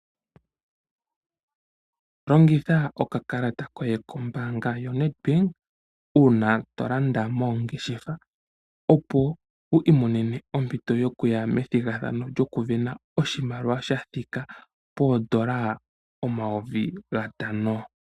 Longitha okakalata koye kombaanga yoNedbank uuna to landa moongeshefa opo wu imonene ompito yokuya methigathano lyokuvena oshimaliwa sha thika poondola omayovi gatano.